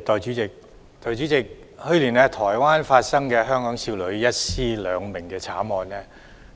代理主席，去年台灣發生的香港少女一屍兩命慘案，